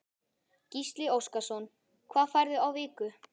Gísli Óskarsson: Hvað færðu á viku?